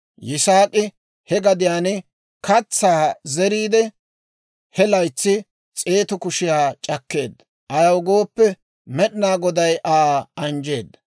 Yisaak'i he gadiyaan katsaa zeriide, he laytsan s'eetu kushiyaa c'akkeedda; ayaw gooppe, Med'inaa Goday Aa anjjeedda.